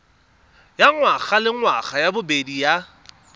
ya ngwagalengwaga ya bobedi ya